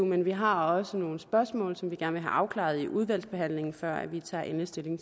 men vi har også nogle spørgsmål som vi gerne vil have afklaret i udvalgsbehandlingen før vi tager endelig stilling